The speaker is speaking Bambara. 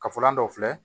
Kafalan dɔ filɛ